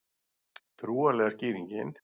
Trúarlega skýringin